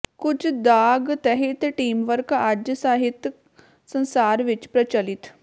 ਕੁਝ ਦਾਗ ਤਹਿਤ ਟੀਮਵਰਕ ਅੱਜ ਸਾਹਿਤਕ ਸੰਸਾਰ ਵਿਚ ਪ੍ਰਚਲਿਤ